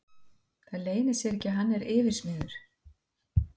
Það leynir sér ekki að hann er yfirsmiður.